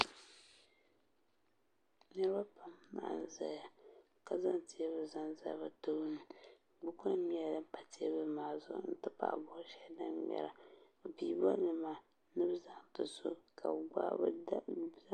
niraba pam n ʒɛya ka zaŋ teebuli zali bi tooni buku nim nyɛla din pa teebuli maa zuɣu n ti pahi bol shɛli din ŋmɛra bi pii bolli maa ni bi zaŋ ti so ka bi